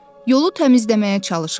Yolu təmizləməyə çalışırdım.